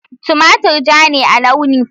Tumatir ja ne a launi.